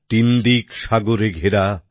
তিন দিক সাগরে ঘেরা